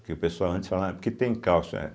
Porque o pessoal antes falava porque tem cálcio é.